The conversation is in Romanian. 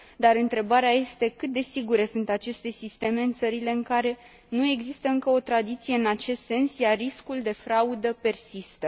Dar întrebarea este cât de sigure sunt aceste sisteme în țările în care nu există încă o tradiție în acest sens, iar riscul de fraudă persistă?